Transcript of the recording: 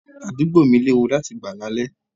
Àdúgbò mi léwu láti gbà là lè.